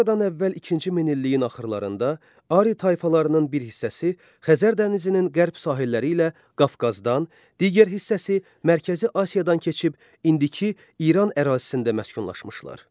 Eradan əvvəl ikinci min illiyin axırlarında Ari tayfalarının bir hissəsi Xəzər dənizinin qərb sahilləri ilə Qafqazdan, digər hissəsi Mərkəzi Asiyadan keçib indiki İran ərazisində məskunlaşmışlar.